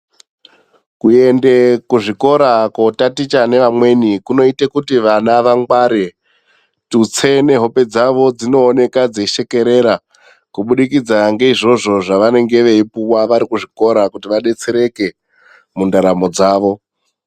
Kuende kuzvikora ,kootaticha nevamweni ,kunoita kuti vana vangware, tutse nehope dzavo dzinooneka dzeishekerera ,kubudikidza ngeizvozvo zvevanenge veipuwa vari kuzvikora kuti vadetsereke ,mundaramo dzavo.